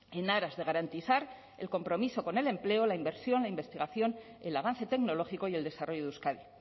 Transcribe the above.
en aras de garantizar el compromiso con el empleo la inversión la investigación el avance tecnológico y el desarrollo de euskadi